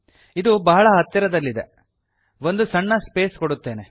ಇದು ಬಹಳ ಹತ್ತಿರದಲ್ಲಿದೆ ಒಂದು ಸಣ್ಣ ಸ್ಪೇಸ್ ಕೊಡುತ್ತೇನೆ